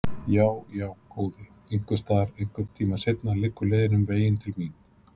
Já, já, góði, einhvers staðar, einhvern tíma seinna, liggur leiðin um veginn til mín.